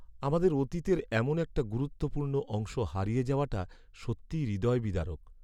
আমাদের অতীতের এমন একটা গুরুত্বপূর্ণ অংশ হারিয়ে যাওয়াটা সত্যিই হৃদয়বিদারক।